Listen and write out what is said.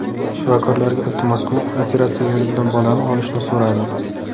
Shifokorlarga iltimos qilib, operatsiya yo‘li bilan bolani olishni so‘radim.